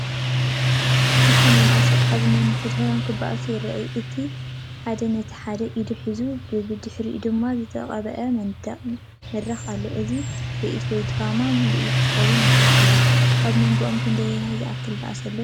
ክልተ መናእሰይ ኣብ ነንሕድሕዶም ክበኣሱ ይረኣዩ። እቲ ሓደ ነቲ ሓደ ኢዱ ሒዙ፡ ብድሕሪኦም ድማ ዝተቐብአ መንደቕን መድረኽን ኣሎ። እዚ ትርኢት ወይ ድራማዊ ምርኢት ክኸውን ይኽእል እዩ። ኣብ መንጎኦም ክንደይ ዝኣክል ባእሲ ኣሎ ትብሉ?